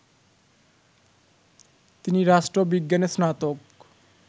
তিনি রাষ্ট্রবিজ্ঞানে স্নাতক